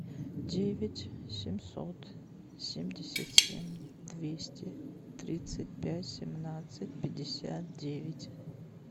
девять семьсот семьдесят семь двести тридцать пять семнадцать пятьдесят девять